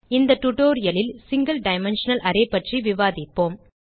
இந்த டியூட்டோரியல் லில் single dimensional array பற்றி விவாதிப்போம்